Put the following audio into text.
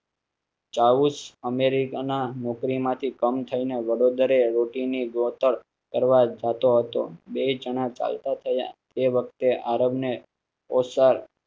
America ના નોકરી માંથી કમી થઈ ને વડોદરે રોટી ની ગોતણ કરવા જતો હતો. બે જણા ચાલતા થયા તે વખતે આરબ ને ઓસાણ